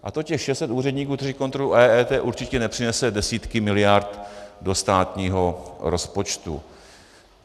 A to těch 600 úředníků, kteří kontrolují EET, určitě nepřinesou desítky miliard do státního rozpočtu.